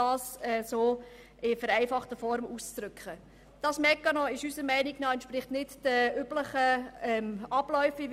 Dieser Mechanismus entspricht unserer Meinung nach nicht den hier üblichen Abläufen.